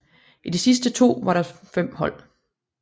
I de sidste to var der fem hold